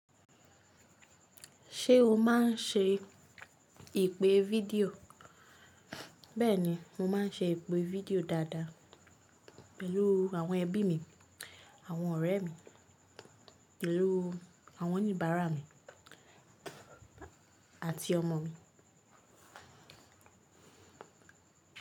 Ṣé o máa ń ṣe ìpè video? Bẹ́ẹ̀ni, mo máa ń ṣe ìpè video dáadáa pẹ̀lú àwọn ẹbí mi, àwọn ọ̀rẹ́ mi, pẹ̀lú àwọn oníbàárà mi àti ọmọ mi.